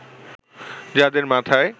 যাদের মাথায়